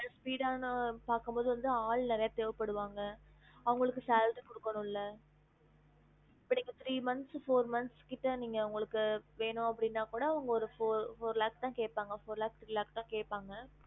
Just speed டானா பாக்கும் போது வந்து ஆள் நிறைய தேவப்படுவாங்க அவங்களுக்கு salary குடுகனும்ல இப்ப நீங்க three months four months கிட்ட நீங்க உங்களுக்கு வேணும் அப்டினா கூட அவங்க ஒரு fou~four lakhs தான் கேப்பாங்க four lakh three lakh தா கேட்ப்பாங்க